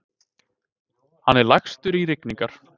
Hann er lagstur í rigningar.